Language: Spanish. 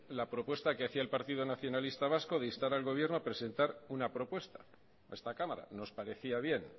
la propuesta que hacía en partido nacionalista vasco de instar al gobierno una propuesta a esta cámara nos parecía bien